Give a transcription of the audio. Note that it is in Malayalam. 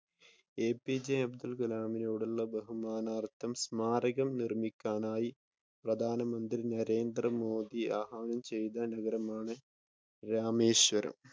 എപിജെ അബ്ദുൽ കലാമിനോടുള്ള ബഹുമാനാർത്ഥം സ്മാരകം നിർമിക്കാനായി പ്രധാന മന്ത്രി നരേന്ദ്രമോദി ആഹ്വാനം ചെയ്ത ആണ് രാമേശ്വരം.